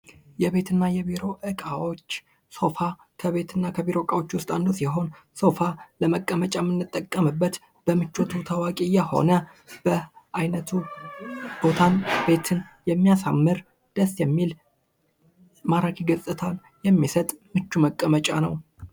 የቤት እና የቢሮ እቃዎች ሶፋ ከቤት እና ከቢሮ እቃዎች ዉስጥ አንዱ ሲሆን ሶፋ ለመቀመጫ የምንጠቀምበት በምቾቱ ታዋቂ የሆነ በአይነቱ በጣም ቤትን የሚያሳምር ደስ የሚል ማራኪ ገፅታ የሚምጥ መቀመጫ ነዉ።